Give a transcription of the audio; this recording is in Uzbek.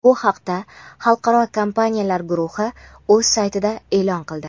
Bu haqda xalqaro kompaniyalar guruhi o‘z saytida e’lon qildi.